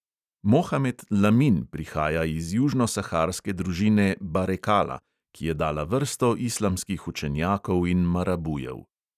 Mohamed lamin prihaja iz južnosaharske družine barekala, ki je dala vrsto islamskih učenjakov in marabujev.